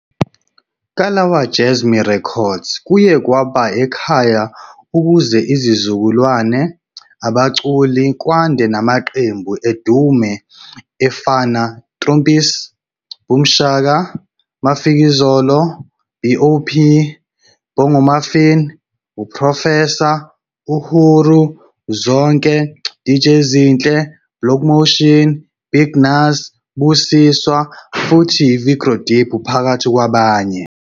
Kalawa Jazmee Records kuye kwaba ekhaya ukuze izizukulwane abaculi kwande namaqembu edume efana Trompies, Boomshaka, Mafikizolo, Bop, Bongomuffin uProfessor, Uhuru, Zonke, Dj Zinhle, Black Motion, BigNuz, Busiswa futhi Vigro Deep phakathi kwabanye.